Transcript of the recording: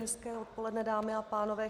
Hezké odpoledne, dámy a pánové.